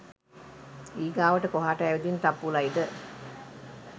ඊගාවට කොහාට ඇවිදින් තප්පුලයිද